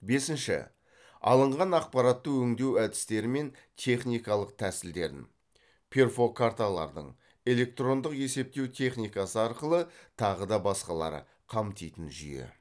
бесінші алынған ақпаратты өңдеу әдістері мен техникалық тәсілдерін қамтитын жүйе